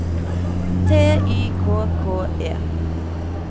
T Y K K E